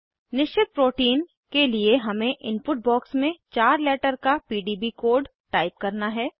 निश्चित प्रोटीन के लिए हमें इनपुट बॉक्स में चार लेटर का पीडीबी कोड टाइप करना है